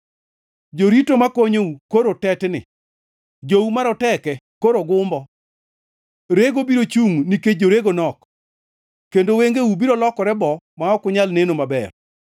Jorito makonyou koro tetni, jou maroteke koro gumbo, rego biro chungʼ nikech jorego nok, kendo wengeu biro lokore boo ma ok unyal neno maber.